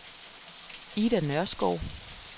Ida Nørskov